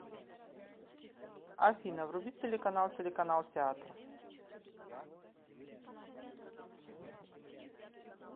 афина вруби телеканал телеканал театр